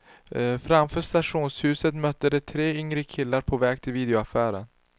Framför stationshuset mötte de tre yngre killar på väg till videoaffären.